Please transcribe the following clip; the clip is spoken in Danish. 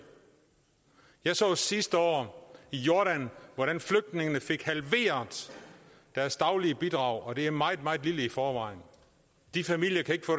jeg så sidste år i jordan hvordan flygtningene fik halveret deres daglige bidrag og det er meget meget lille i forvejen de familier kan ikke få